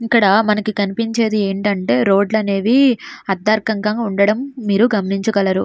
ఇక్కడ మనకి కనిపించేది ఏంటంటే రోడ్లనేవి అత్తర్ కంగా ఉండడం మీరు గమనించగలరు.